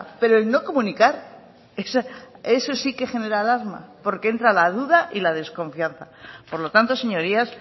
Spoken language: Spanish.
pero no comunicar eso sí que genera alarma porque entra la duda y la desconfianza por lo tanto señorías